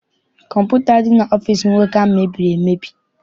Kọmputa dị n'ọfịịsi nwoke ahụ mebiri emebi.